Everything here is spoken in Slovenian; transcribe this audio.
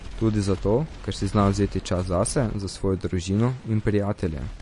Tudi zato, ker si zna vzeti čas zase, za svojo družino in prijatelje.